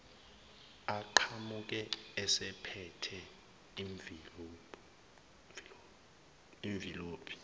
aqhamuke esephethe imvilophi